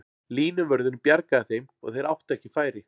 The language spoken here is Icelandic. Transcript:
Línuvörðurinn bjargaði þeim og þeir áttu ekki færi.